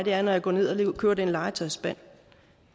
jeg går ned og køber den legetøjsspand